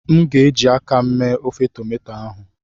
m ga- eji aka m mee ofe tomato ahụ